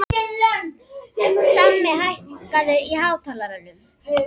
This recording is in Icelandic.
Sammi, hækkaðu í hátalaranum.